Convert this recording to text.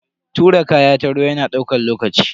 Tura kaya ta ruwa yana daukan lokaci.